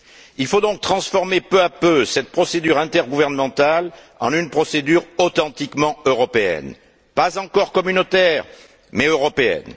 Il faut donc transformer peu à peu cette procédure intergouvernementale en une procédure authentiquement européenne, pas encore communautaire, mais européenne.